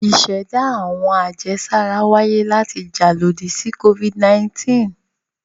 Ìṣẹ̀dá àwọn àjẹsára wáyé láti le jà lòdì sí Covid-19.